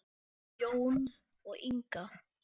Jón og Inga.